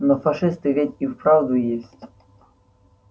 но фашисты ведь и вправду есть